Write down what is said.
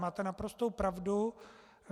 Máte naprostou pravdu.